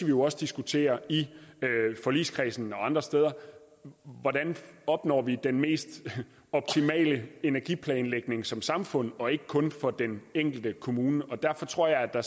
jo også diskutere i forligskredsen og andre steder hvordan vi opnår den mest optimale energiplanlægning som samfund og ikke kun for den enkelte kommune derfor tror jeg at der